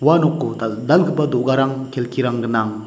ua noko dal·dalgipa do·garang kelkirang gnang.